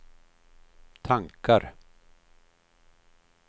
tankar